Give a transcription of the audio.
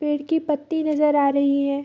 पेड़ की पत्ती नजर आ रही है।